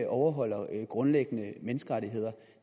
overholder grundlæggende menneskerettigheder